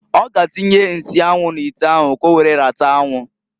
Ọ ga atinye nsi anwu n'ite ahu k'owere rata anwụ.